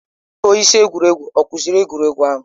Onye isi egwuregwu ọ kụziri egwuregwu ahụ?